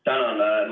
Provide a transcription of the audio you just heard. Tänan!